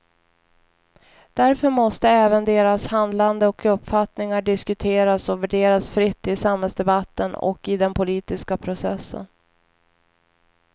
Därför måste även deras handlande och uppfattningar diskuteras och värderas fritt i samhällsdebatten och i den politiska processen.